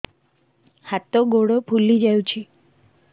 ହାତ ଗୋଡ଼ ଫୁଲି ଯାଉଛି